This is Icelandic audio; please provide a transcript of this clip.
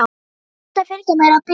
Hann ætlar að fylgja mér að bílnum.